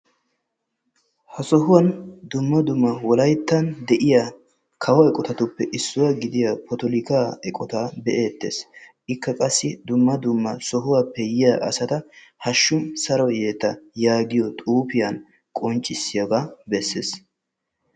ha sohuwaan dumma dumma wollayttan de"iyaa kawo eqqotatuppe issuwaa potolikkaa eqqotaa be'ettees. ikka qassi dumma dumma sohuwaappe yiyaa asata haashshu saro yeta yaagiyaa xuufiyaa qonccisiyaagaa bessees.